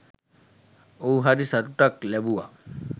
ඔහු හරි සතුටක් ලැබුවා.